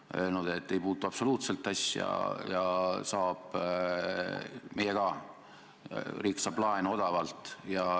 Nad on öelnud, et see ei puutu absoluutselt asjasse ja et ka meie riik saab laenu odavalt.